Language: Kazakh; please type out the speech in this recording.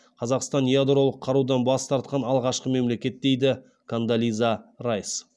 қазақстан ядролық қарудан бас тартқан алғашқы мемлекет дейді кондолиза райс